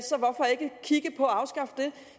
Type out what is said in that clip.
ikke kigge på at afskaffe det